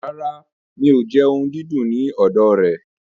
Rárá, mi ò jẹ ohun ìdùnnú ní ọ̀dọ̀ rẹ̀.